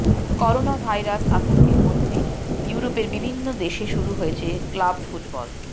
coronavirus আতঙ্কের মধ্যেই ইউরোপের বিভিন্ন দেশে শুরু হয়েছে ক্লাব ফুটবল